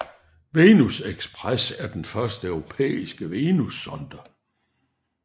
Venus Express er den første europæiske venussonde